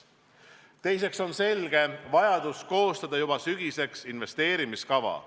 Teiseks on selge vajadus koostada juba sügiseks investeerimiskava.